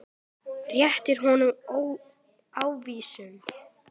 Rétti honum ávísun.